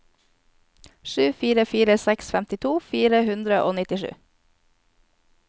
sju fire fire seks femtito fire hundre og nittisju